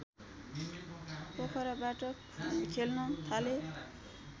पोखराबाट खेल्न थाले